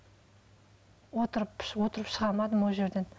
отырып отырып шыға алмадым ол жерден